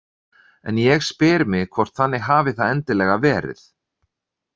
En ég spyr mig hvort þannig hafi það endilega verið.